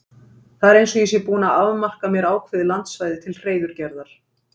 Það er eins og ég sé búinn að afmarka mér ákveðið landsvæði til hreiðurgerðar.